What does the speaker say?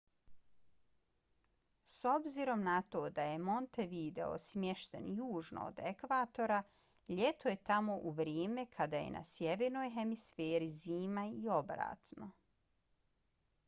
s obzirom na to da je montevideo smješten južno od ekvatora ljeto je tamo u vrijeme kada je na sjevernoj hemisferi zima i obratno